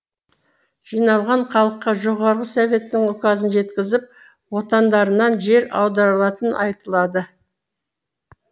жиналған халыққа жоғары советтің указын жеткізіп отандарынан жер аударылатыны айтылады